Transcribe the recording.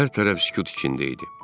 Hər tərəf sükut içində idi.